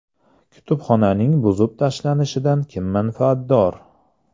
Kutubxonaning buzib tashlanishidan kim manfaatdor?